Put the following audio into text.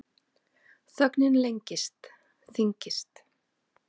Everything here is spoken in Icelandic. Þögnin lengist, þyngist.